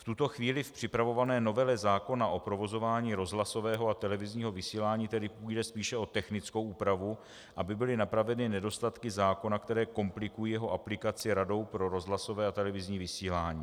V tuto chvíli v připravované novele zákona o provozování rozhlasového a televizního vysílání tedy půjde spíše o technickou úpravu, aby byly napraveny nedostatky zákona, které komplikují jeho aplikaci Radou pro rozhlasové a televizní vysílání.